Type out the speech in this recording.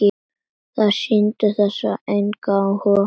Þær sýndu þessu engan áhuga.